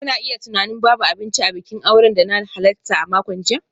Kuna iya tunanin babu abinci a bikin auren da na halarta a makon jiya.